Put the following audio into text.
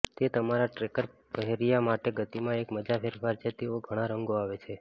તે તમારા ટ્રેકર પહેર્યા માટે ગતિમાં એક મજા ફેરફાર છે તેઓ ઘણા રંગો આવે છે